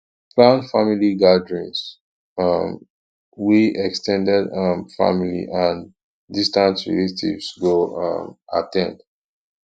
plan family gatherings um wey ex ten ded um family and distant relatives go um at ten d